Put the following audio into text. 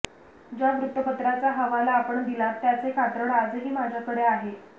ज्या वृत्तपत्राचा हवाला अपण दिलात त्याचे कात्रण आजही माझ्याकडे आहे